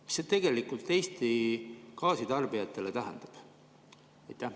Mida see tegelikult Eesti gaasitarbijatele tähendab?